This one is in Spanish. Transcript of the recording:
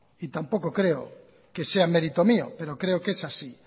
y tampoco creo que sea mérito mío pero creo que es así